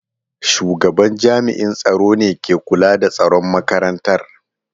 Shugaban jami’an tsaro ne ke kula da tsaron makarantar.